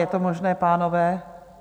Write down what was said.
Je to možné, pánové?